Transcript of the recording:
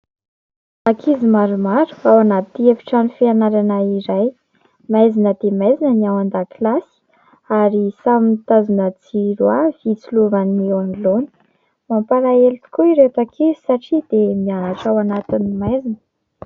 Ankizy maromaro ao anaty efitrano fianarana iray, maizina dia maizina ny ao an-dakilasy ary samy mitazona jiro avy hitsilovany ny eo anoloany, mampalahelo tokoa ireto ankizy satria dia mianatra ao anatin'ny maizina.